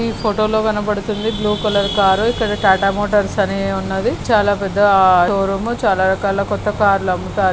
ఇ photo లో కనబడుతుంది blue colour car ఇక్కడ టాటా మోటార్స్ అని ఉన్నది చాల పెద్ద షోరూం చాల రకాల కొత్త కారు లు అమ్ముతారు.